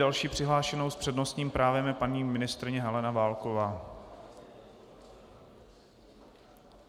Další přihlášenou s přednostním právem je paní ministryně Helena Válková.